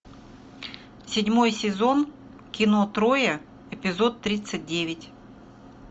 седьмой сезон кино троя эпизод тридцать девять